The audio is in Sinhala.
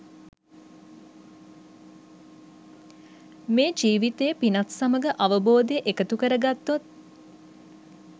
මේ ජීවිතයේ පිනත් සමඟ අවබෝධය එකතු කරගත්තොත්